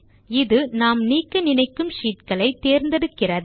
இது நாம் நீக்க நினைக்கும் ஷீட் களை தேர்ந்தெடுக்கிறது